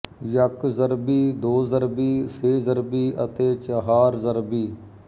ਯੱਕ ਜ਼ਰਬੀ ਦੋ ਜ਼ਰਬੀ ਸੇ ਜ਼ਰਬੀ ਅਤੇ ਚਹਾਰ ਜ਼ਰਬੀ